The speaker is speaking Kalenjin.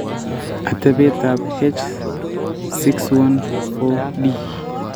Atebeetap H614D: